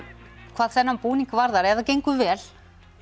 hvað þennan búning varðar ef það gengur vel